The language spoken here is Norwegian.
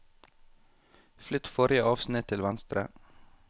Flytt forrige avsnitt til venstre